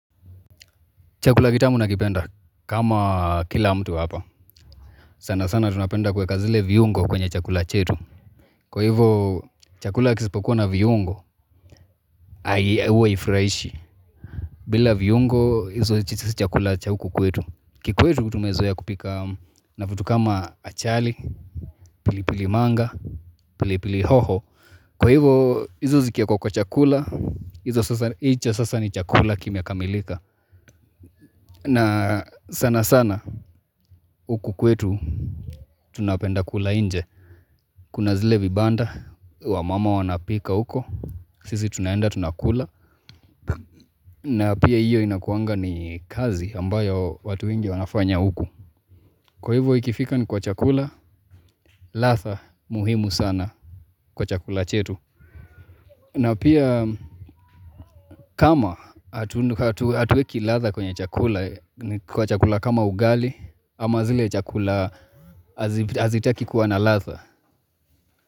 Chakula gitamu nakipenda kama kila mtu hapa sana sana tunapenda kuweka zile viungo kwenye chakula chetu Kwa hivyo chakula kisipokuwa na viungo Ai huwa haifurahishi bila viungo hizo chakula cha huku kwetu Kikwetu kutumezoea kupika na vitu kama achali, pilipili manga, pilipili hoho Kwa hivyo hizo zikiekwa kwa chakula hizo sasa ni chakula kime kamilika na sana sana huku kwetu Tunapenda kula inje Kuna zile vibanda Wamama wanapika uko sisi tunaenda tunakula na pia hiyo inakuanga ni kazi ambayo watu wengi wanafanya uko Kwa hivyo ikifika ni kwa chakula ladhaa muhimu sana kwa chakula chetu na pia kama hatueki ladha kwenye chakula kwa chakula kama ugali ama zile chakula hazi hazitaki kuwa na ladha.